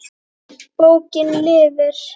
Bókin lifir.